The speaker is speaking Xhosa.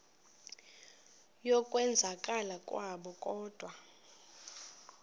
yokwenzakala kwabo kodwa